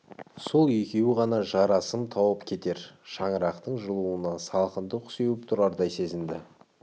сол екеуі ғана жарасым тауып кетер шаңырақтың жылуына салқындық сеуіп тұрардай сезінді